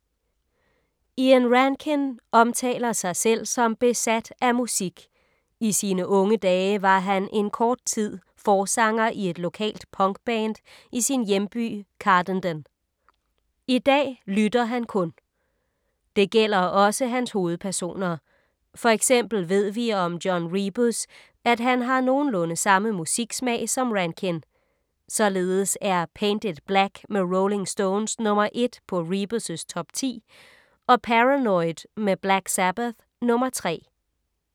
Ian Rankin omtaler sig selv som besat af musik. I sine unge dage var han en kort tid forsanger i et lokalt punkband i sin hjemby Cardenden. I dag lytter han kun. Det gælder også hans hovedpersoner. For eksempel ved vi om John Rebus, at han har nogenlunde samme musiksmag som Rankin. Således er Paint it black med Rolling Stones nr. 1 på Rebus’ top 10 og Paranoid med Black Sabbath nr. 3.